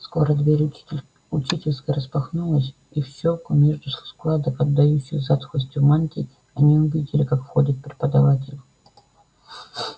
скоро дверь учительской распахнулась и в щёлки между складок отдающих затхлостью мантий они увидели как входят преподаватели